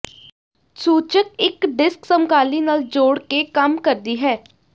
ਸੂਚਕ ਇੱਕ ਡਿਸਕ ਸਮਕਾਲੀ ਨਾਲ ਜੋੜ ਕੇ ਕੰਮ ਕਰਦੀ ਹੈ